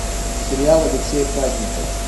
сериал алексея праздникова